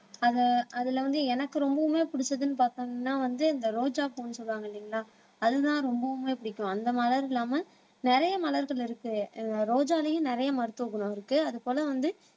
அதை அதில வந்து எனக்கு ரொம்பவுமே பிடிச்சதுன்னு பார்த்தீங்கன்னா வந்து இந்த ரோஜாப்பூன்னு சொல்லுவாங்க இல்லைங்களா அதுதான் ரொம்பவுமே பிடிக்கும் அந்த மலர் இல்லாம நிறைய மலர்கள் இருக்கு அஹ் ரோஜாலையும் நிறைய மருத்துவ குணம் இருக்கு அது போல வந்து